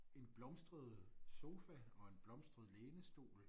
En blomstret sofa og en blomstret lænestol